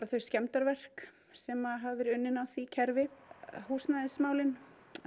þau skemmdarverk sem hafa verið unnin á því kerfi húsnæðismálin